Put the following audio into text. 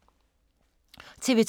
TV 2